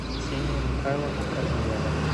ксения михайловна корнилова